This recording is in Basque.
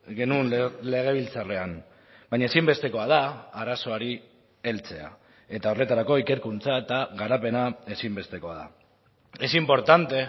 genuen legebiltzarrean baina ezinbestekoa da arazoari heltzea eta horretarako ikerkuntza eta garapena ezinbestekoa da es importante